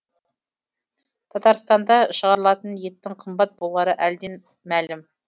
татарстанда шығарылатын еттің қымбат болары әлден мәлім